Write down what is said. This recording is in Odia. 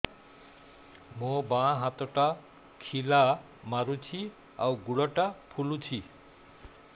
ମୋ ବାଆଁ ହାତଟା ଖିଲା ମାରୁଚି ଆଉ ଗୁଡ଼ ଟା ଫୁଲୁଚି